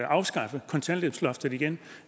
afskaffe kontanthjælpsloftet igen